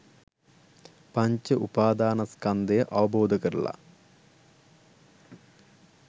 පංච උපාදානස්කන්ධය අවබෝධ කරලා